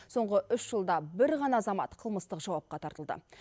соңғы үш жылда бір ғана азамат қылмыстық жауапқа тартылды